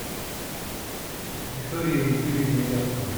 виктории юрьевне рябцевой